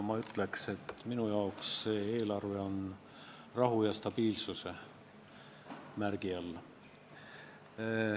Ma ütleks, et minu jaoks on see eelarve rahu ja stabiilsuse märgiga.